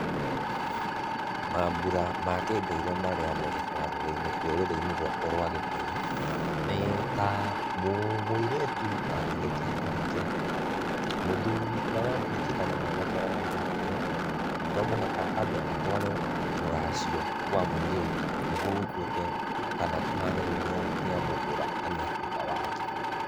Maambura ma kĩndũire marĩa mekekaga rũrĩrĩ-inĩ rwakwa rwa gĩkũyũ, nĩ ta, mũirĩtu agĩgatia ahike ,mũthuri ũria wa mũhikia kana mwanake ũria wamuhikia no mũhaka ambe atware rũracio kwa mũiritu, nĩgũo gũtuĩke kana kũhane rĩu nĩ amũgũra na nĩ atuĩka wake.